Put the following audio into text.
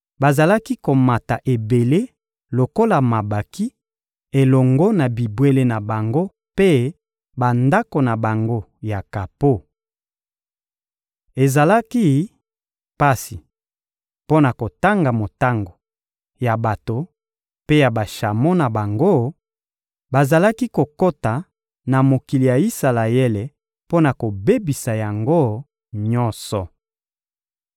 Bazalaki komata ebele lokola mabanki elongo na bibwele na bango mpe bandako na bango ya kapo. Ezalaki pasi mpo na kotanga motango ya bato mpe ya bashamo na bango; bazalaki kokota na mokili ya Isalaele mpo na kobebisa yango nyonso.